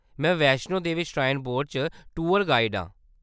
में Vaishno Devi shrine board च tour guide आं।